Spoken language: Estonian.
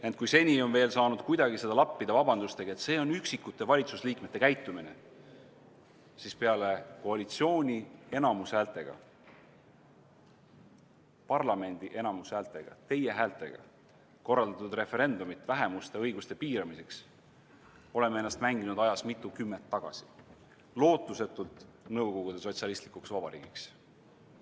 Ent kui seni on veel saanud kuidagi seda lappida vabandustega, et see on üksikute valitsusliikmete käitumine, siis peale koalitsiooni enamushäältega, parlamendi enamushäältega, teie häältega korraldatud referendumit vähemuste õiguste piiramiseks oleme ennast mänginud ajas mitukümmend aastat tagasi, lootusetult Nõukogude Sotsialistlikuks Vabariigiks.